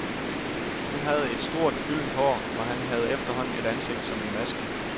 Hun havde stort, gyldent hår, og han havde efterhånden et ansigt som en maske.